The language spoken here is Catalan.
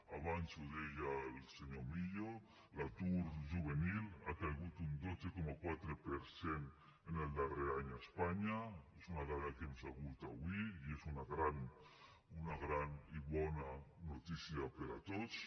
abans ho deia el senyor millo l’atur juvenil ha caigut un dotze coma quatre per cent en el darrer any a espanya és una dada que hem sabut avui i és una gran i bona noticia per a tots